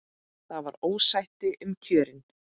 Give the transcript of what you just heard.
Það var ósætti um kjörin.